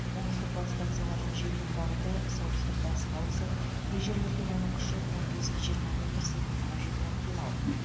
оңтүстік батыстан соғатын желдің бағыты солтүстік батысқа ауысып кей жерлерде оның күші он бес жиырма метр секундына жетуі ықтимал